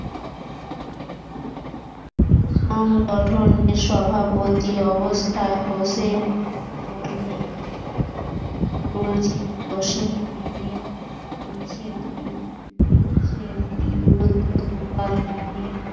সংগঠনের সভাপতির অবস্থান হোসেন বললেন সুরজিৎ বস্ত্রের রেলের উচ্ছেদ উচ্ছেদ বিরুদ্ধ দোকানদারের